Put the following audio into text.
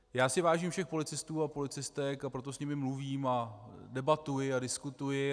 Já si vážím všech policistů a policistek, a proto s nimi mluvím a debatuji a diskutuji.